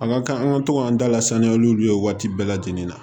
An ka kan an ka to k'an da lasaniya olu ye waati bɛɛ lajɛlen na